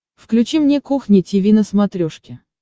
включи мне кухня тиви на смотрешке